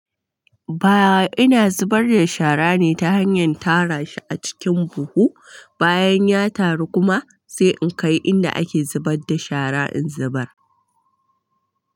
Ba ina zubar da shara ne ta hanyar tara shi a cikin buhu, bayan ya taru kuma sai in kai inda ake zubar da shara in zubar.